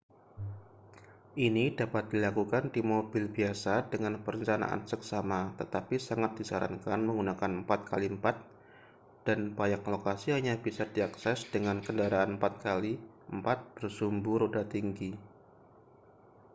ini dapat dilakukan di mobil biasa dengan perencanaan seksama tetapi sangat disarankan menggunakan 4x4 dan banyak lokasi hanya bisa diakses dengan kendaraan 4x4 bersumbu roda tinggi